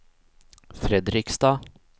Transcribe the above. Fredrikstad